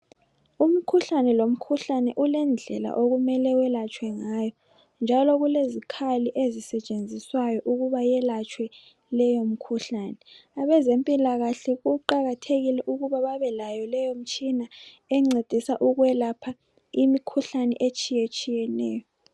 Umkhuhlane lomkhuhlane ulendlela okumele welatshwe ngayo njalo kulezikhali ezisetshenziswayo ukuba yelatshwe leyo mikhuhlane, abezempilakahle kuqakathekile ukuba babe layo leyo mtshina encedisa ukwelapha imikhuhlane etshiyetshiyeneyo.